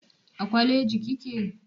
A kwaleji kike?